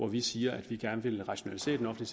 vi siger at vi gerne vil rationalisere den